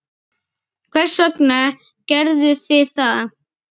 Hvers vegna gerðuð þið það?